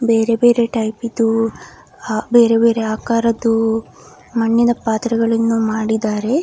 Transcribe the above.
ಬೇರೆ ಬೇರೆ ಟೈಪಿದ್ದು ಹ್ಹ ಬೇರೆ ಬೇರೆ ಆಕಾರದ್ದು ಮಣ್ಣಿನ ಪಾತ್ರೆಗಳಿಂದ ಮಾಡಿದ್ದಾರೆ.